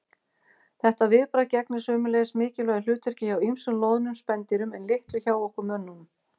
Þetta viðbragð gegnir sömuleiðis mikilvægu hlutverki hjá ýmsum loðnum spendýrum en litlu hjá okkur mönnunum.